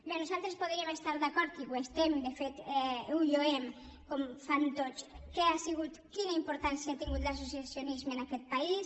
bé nosaltres podríem estar d’acord i ho estem de fet ho lloem com fan tots amb què ha sigut quina importància ha tingut l’associacionisme en aquest país